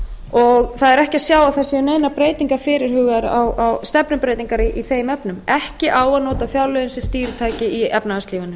og það er ekki að sjá að það séu neinar stefnubreytingar fyrirhugaðar í þeim efnum ekki á að nota fjárlögin sem stýritæki í efnahagslífinu